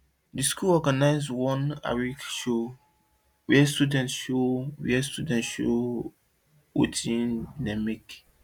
the school organize one agric show where students show where students show watin dem make